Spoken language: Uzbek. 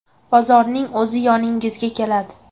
Bozorning o‘zi yoningizga keladi.